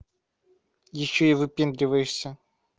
ещё и выпендриваешься